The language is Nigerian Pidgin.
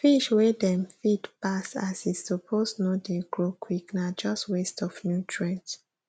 fish wey dem feed pass as e suppose no dey grow quickna just waste of nutrients